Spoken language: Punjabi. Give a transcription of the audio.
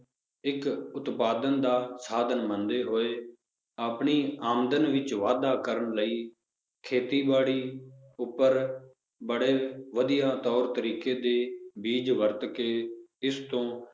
ਇੱਕ ਉਤਪਾਦਨ ਦਾ ਸਾਧਨ ਮੰਨਦੇ ਹੋਏ ਆਪਣੀ ਆਮਦਨ ਵਿੱਚ ਵਾਧਾ ਕਰਨ ਲਈ ਖੇਤੀਬਾੜੀ ਉੱਪਰ ਬੜੇ ਵਧੀਆ ਤੌਰ ਤਰੀਕੇ ਦੇ ਬੀਜ਼ ਵਰਤ ਕੇ ਇਸ ਤੋਂ